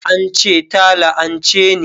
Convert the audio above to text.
An ce ta la'anche ni